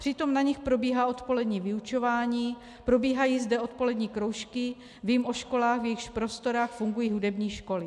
Přitom na nich probíhá odpolední vyučování, probíhají zde odpolední kroužky, vím o školách, v jejichž prostorách fungují hudební školy.